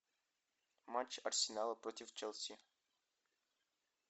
матч арсенала против челси